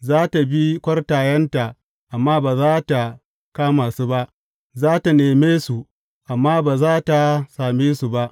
Za tă bi kwartayenta amma ba za tă kama su ba; za tă neme su amma ba za tă same su ba.